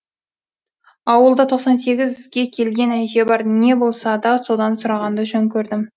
ауылда тоқсан сегізге келген әже бар не болса да содан сұрағанды жөн көрдім